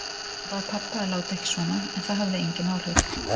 Hún bað pabba að láta ekki svona en það hafði engin áhrif.